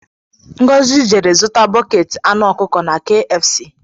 Ngozi jere zụta buketi anụ ọkụkọ na kfc